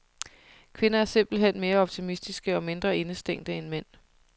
Kvinder er simpelt hen mere optimistiske og mindre indestængte end mænd.